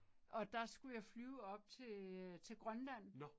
Og der skulle jeg flyve op til øh til Grønland